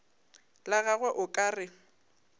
la gagwe o ka re